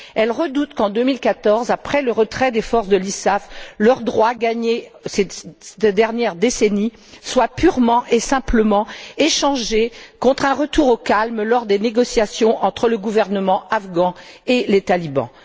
Elles redoutent qu'en 2014, après le retrait des forces de l'ISAF, leurs droits gagnés cette dernière décennie soient purement et simplement échangés contre un retour au calme lors des négociations entre le gouvernement afghan et les talibans.